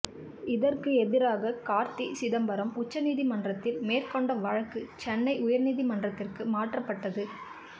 இதற்கு எதிராக கார்த்தி சிதம்பரம் உச்சநீதிமன்றத்தில் மேற்கொண்ட வழக்கு சென்னை உயர்நீதிமன்றத்திற்கு மாற்றப்பட்டது